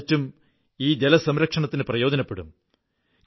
A യുടെ മൻറേഗ ബജറ്റും ഈ ജലസംരക്ഷണത്തിന് പ്രയോജനപ്പെടും